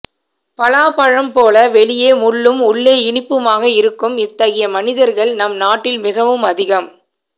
பலாபப்ழம்போல வெளியே முள்ளும் உள்ளே இனிப்புமாக இருக்கும் இத்தகைய மனிதர்கள் நம் நாட்டில் மிகவும் அதிகம்